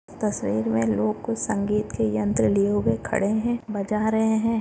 तस्वीर मे लोग को संगीत के यंत्र लिए हुए खड़े है बजा रहे है।